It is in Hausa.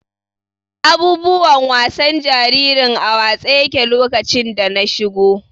Abubuwan wasan jaririn a watse yaƙe lokacin da na iso.